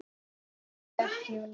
Hélt Júlía.